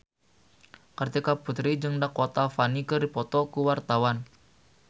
Kartika Putri jeung Dakota Fanning keur dipoto ku wartawan